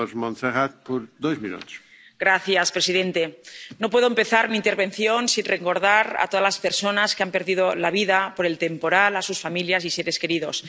Señor presidente, no puedo empezar mi intervención sin recordar a todas las personas que han perdido la vida por el temporal, a sus familias y seres queridos.